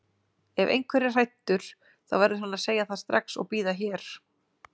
Ef einhver er hræddur þá verður hann að segja það strax og bíða hér.